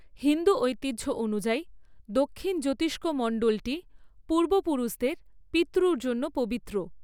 হিন্দু ঐতিহ্য অনুযায়ী, দক্ষিণ জ্যোতিষ্কমণ্ডলটি পূর্বপুরুষদের পিত্রুর জন্য পবিত্র।